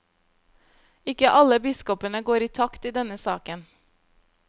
Ikke alle biskopene går i takt i denne saken.